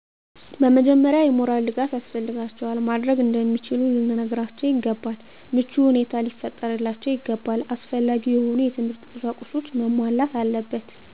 በመጀመሪያ የሞራል ድጋፍ ያስፈልጋቸዋል። ማድረግ እንደሚችሉ ልንነግራቸው ይገባል። ምቹ ሁኔታ ሊፈጠርላቸው ይገባል። አስፈላጊ የሆኑ የትምህርት ቁሳቁሶች መሟላት አለበት።